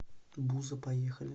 буза поехали